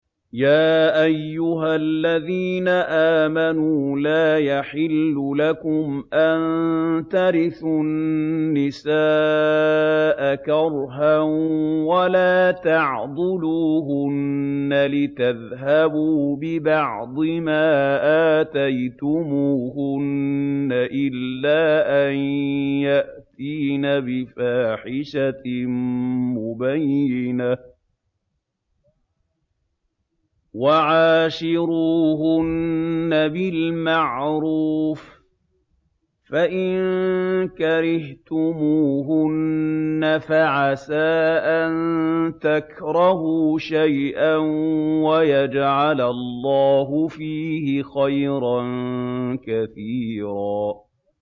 يَا أَيُّهَا الَّذِينَ آمَنُوا لَا يَحِلُّ لَكُمْ أَن تَرِثُوا النِّسَاءَ كَرْهًا ۖ وَلَا تَعْضُلُوهُنَّ لِتَذْهَبُوا بِبَعْضِ مَا آتَيْتُمُوهُنَّ إِلَّا أَن يَأْتِينَ بِفَاحِشَةٍ مُّبَيِّنَةٍ ۚ وَعَاشِرُوهُنَّ بِالْمَعْرُوفِ ۚ فَإِن كَرِهْتُمُوهُنَّ فَعَسَىٰ أَن تَكْرَهُوا شَيْئًا وَيَجْعَلَ اللَّهُ فِيهِ خَيْرًا كَثِيرًا